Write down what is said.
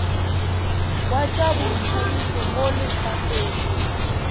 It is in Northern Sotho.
wa tša boithabišo mo lehlasedi